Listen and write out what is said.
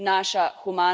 Lahko nas je res sram.